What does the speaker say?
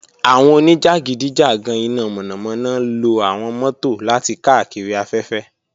Awọn onijakidijagan ina mọnamọna lo awọn mọto lati kaakiri afẹfẹ.